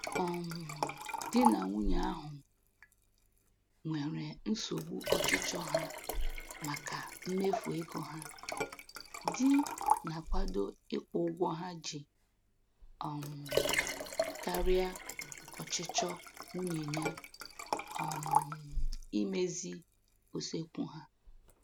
um Di na nwunye ahụ nwere nsogbu ọchịchọ ha maka mmefu ego ha, di na-akwado ịkwụ ụgwọ ha ji um karịa ọchịchọ nwunye ya um imezi usekwu ha.